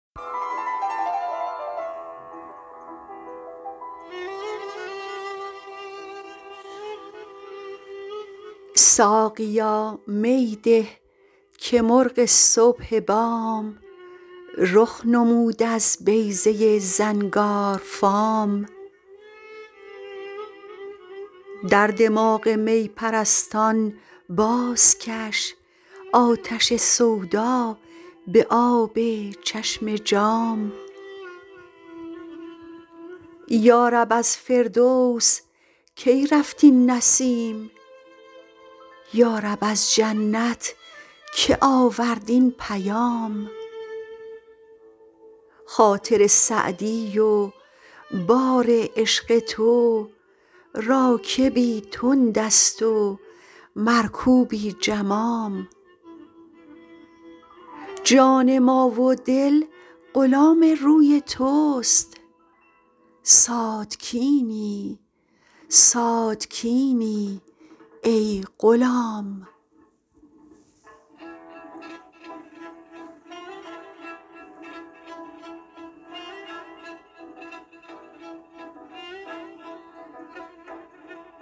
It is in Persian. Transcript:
ساقیا می ده که مرغ صبح بام رخ نمود از بیضه زنگارفام در دماغ می پرستان بازکش آتش سودا به آب چشم جام یا رب از فردوس کی رفت این نسیم یا رب از جنت که آورد این پیام خاطر سعدی و بار عشق تو راکبی تند است و مرکوبی جمام جان ما و دل غلام روی توست ساتکینی ساتکینی ای غلام